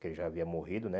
Que ele já havia morrido, né?